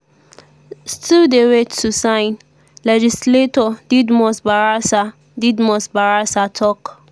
[still dey wait to sign]” legislator didmus barasa didmus barasa tok.